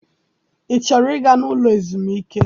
I chọrọ ịga n'ụlọ ezumike?